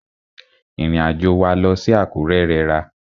Ìrìn àjò wa lọ sí Àkúrẹ́ rẹra.